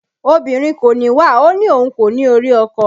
Obìnrin kò níwà ó ní òun kò ní orí ọkọ